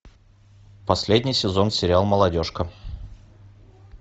последний сезон сериал молодежка